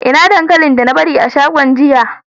Ina dankalin da na bari a shagon jiya?